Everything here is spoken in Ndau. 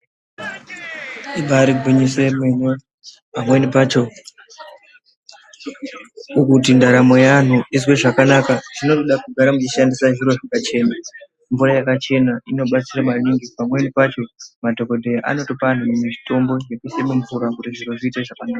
Ibari gwinyiso yemene pamweni pacho kuti ndaramo yeanhu izwe zvakanaka zvinoda kugara mweishandisa zviro zvakachena mvura yakachena pamweni pacho madhokodheya anotopa anhu mitombo yekuisa mumvura kuto zvinhu zviite zvakanaka .